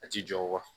A ti jɔ wa